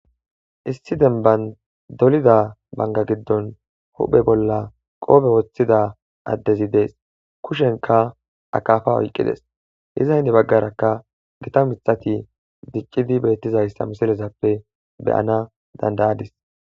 issi denban dolida banga giddon huphe bolla qoobe woththida addezi dees kushenka akafa oyqqides iza henni baggarakka gita mixati diccidi beettizayssa misilezappe beyana dandayadis